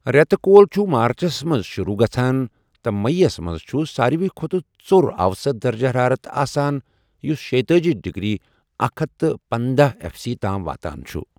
رٮ۪تہٕ کول چھُ مارچس منٛز شروع گژھان تہٕ مئی یَس منٛز چھُ ساروی کھوتہٕ ژوٚر اَوسَط درجہ حرارت آسان یُس شےتأجی ڈگری اکھ ہتھَ پنداہ ایف سی تام واتان چھُ۔